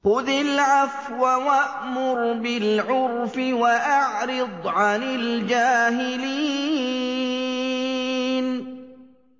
خُذِ الْعَفْوَ وَأْمُرْ بِالْعُرْفِ وَأَعْرِضْ عَنِ الْجَاهِلِينَ